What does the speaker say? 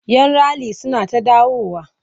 Yan rali suna ta dawowa.